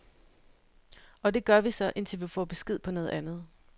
Og det gør vi så, indtil vi får besked på noget andet.